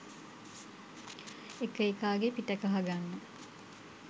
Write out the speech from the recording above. එක එකාගෙ පිට කහගන්න